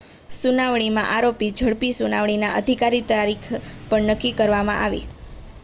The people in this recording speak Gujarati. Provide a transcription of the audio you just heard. સુનાવણીમાં આરોપીના ઝડપી સુનાવણીના અધિકારની તારીખ પણ નક્કી કરવામાં આવી